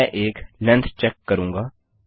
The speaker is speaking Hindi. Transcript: मैं एक लेंग्थ चेक लेन्थ चेक करूँगा